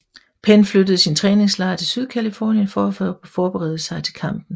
Penn flyttede sin træningslejr til Sydcalifornien for at forberede sig til kampen